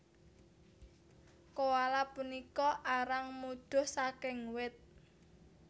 Koala punika arang mudhuh saking wit